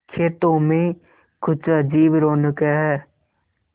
खेतों में कुछ अजीब रौनक है